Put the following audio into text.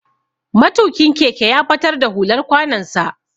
Matukin keke ya batar da hular kwanon sa.